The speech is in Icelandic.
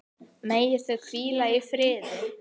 Megi þau hvíla í friði.